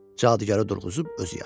Cadugarı durğuzub özü yatır.